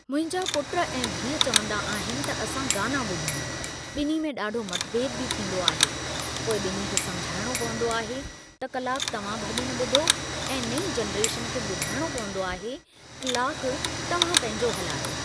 मुंहिंजा पुट ऐं धीअ चवंदा आहिनि त असां गाना ॿुधूं , ॿिन्ही में ॾाढो मतभेद बि थींदो आहे, पोइ ॿिन्ही खे समुझाइणो पवंदो आहे त क्लाकु तव्हां भॼन ॿुधो ऐं नई जनरेशन खे ॿुधाइणो पवंदो आहे क्लाकु तव्हां पंहिंजो हलायो।